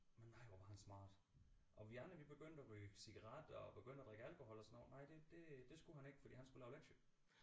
Men nej hvor var han smart og vi andre vi begyndte at ryge cigaretter og begyndte at drikke alkohol og sådan noget nej det det det skulle han ikke fordi han skulle lave lektier